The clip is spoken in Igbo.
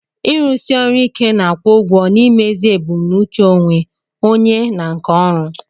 Ịrụsi ọrụ ike na-akwụ ụgwọ n'imezu ebumnuche onwe onye na nke ọrụ.